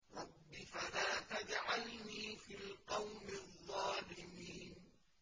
رَبِّ فَلَا تَجْعَلْنِي فِي الْقَوْمِ الظَّالِمِينَ